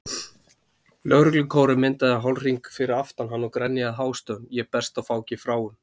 Lögreglukórinn myndaði hálfhring fyrir aftan hann og grenjaði hástöfum Ég berst á fáki fráum.